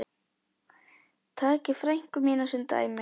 Takið frænku mína sem dæmi.